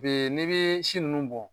Bɛ n'i bɛ si ninnu bɔ